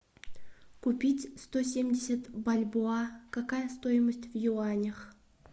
купить сто семьдесят бальбоа какая стоимость в юанях